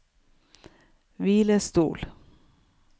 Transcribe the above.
hvilestol